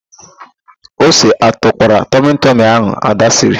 Ose atụkwara tọmịtịmị ahụ Ada siri?